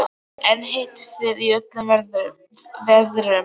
En hittist þið í öllum veðrum?